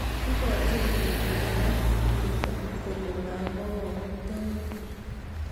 Ikochin ripik kobar imenda kole mamwa kamukataindet